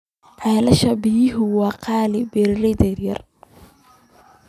Ceelasha biyuhu waa qaali beeralayda yaryar.